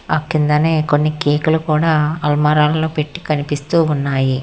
ఆ కిందనే కొన్ని కేక్ లు కూడా అలమరలో పెట్టి కనిపిస్తూ ఉన్నాయి.